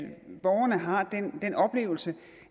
borgerne har den oplevelse